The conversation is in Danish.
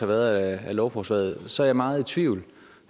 været af lovforslaget så er meget i tvivl